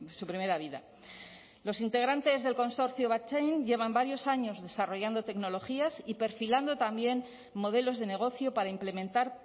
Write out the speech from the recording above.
su primera vida los integrantes del consorcio battchain llevan varios años desarrollando tecnologías y perfilando también modelos de negocio para implementar